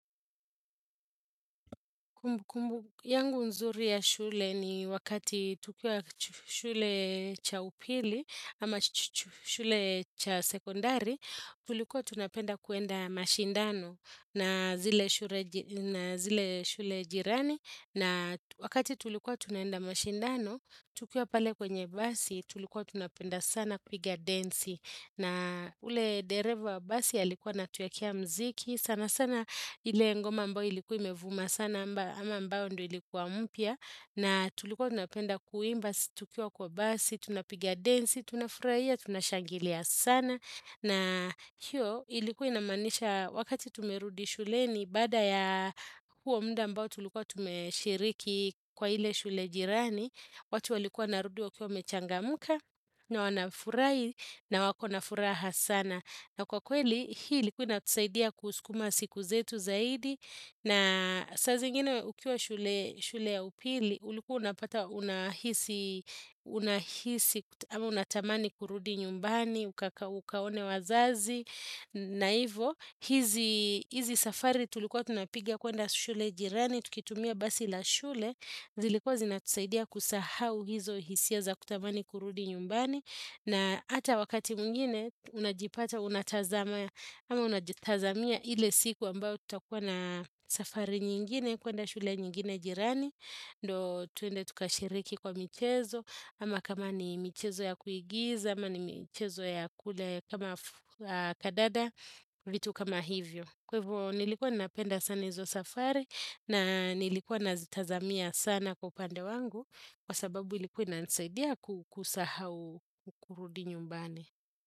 Kumbu kumbu yangu nzuri ya shule ni wakati tukiwa shule cha upili ama shule cha sekondari, tulikuwa tunapenda kuenda mashindano na zile shule jirani. Na wakati tulikuwa tunaenda mashindano, tukiwa pale kwenye basi, tulikuwa tunapenda sana kuiga densi. Na ule dereva wa basi alikuwa anatuwekea mziki, sana sana ile ngoma ambayo ilikuwa imevuma sana ama ambayo ndiyo ilikuwa mpya. Na tulikuwa tunapenda kuimba, tukiwa kwa basi, tunapiga densi, tunafurahia, tunashangilia sana. Na hiyo ilikuwa inamaanisha wakati tumerudi shuleni baada ya huo muda ambao tulikuwa tumeshiriki kwa ile shule jirani. Watu walikuwa wanarudi wakiwa wamechangamka na wanafurahi na wako na furaha sana. Na kwa kweli hii ilikuwa inatusaidia kuskuma siku zetu zaidi. Na saa zingine ukiwa shule ya upili, ulikuwa unapata unahisi ama unatamani kurudi nyumbani, ukaone wazazi, na ivo, hizi safari tulikuwa tunapigia kuenda shule jirani, tukitumia basi la shule, zilikuwa zinatusaidia kusahau hizo hisia za kutamani kurudi nyumbani. Na ata wakati mwingine unajipata, unatazama, ama unatazamia ile siku ambayo tutakuwa na safari nyingine kuenda shule nyingine jirani, ndio tuende tukashiriki kwa michezo ama kama ni michezo ya kuigiza, ama ni michezo ya kule kama kadada, vitu kama hivyo Kwa hivo nilikuwa napenda sana hizo safari na nilikuwa nazitazamia sana kwa upande wangu kwa sababu ilikuwa inanisaidia kusahau kurudi nyumbani.